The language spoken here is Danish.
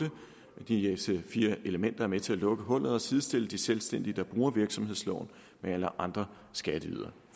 disse fire elementer er med til at lukke hullet og sidestille de selvstændige der bruger virksomhedsloven med alle andre skatteydere